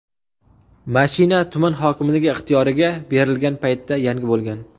mashina tuman hokimligi ixtiyoriga berilgan paytda yangi bo‘lgan.